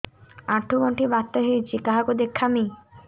ଆଣ୍ଠୁ ଗଣ୍ଠି ବାତ ହେଇଚି କାହାକୁ ଦେଖାମି